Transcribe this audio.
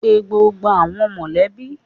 Pe gbogbo awọn mọlẹbi!